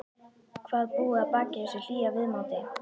Hvað búi að baki þessu hlýja viðmóti.